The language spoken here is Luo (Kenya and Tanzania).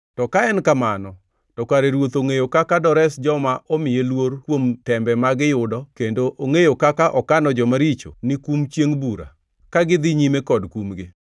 to ka en kamano, to kare Ruoth ongʼeyo kaka dores joma omiye luor kuom tembe ma giyudo kendo ongʼeyo kaka okano joma richo ni kum chiengʼ Bura, ka gidhi nyime kod kumgi.